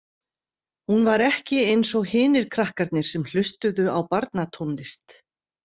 Hún var ekki eins og hinir krakkarnir sem hlustuðu á barnatónlist.